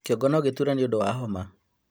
Kĩongo nogĩtuure nĩũndũ wa homa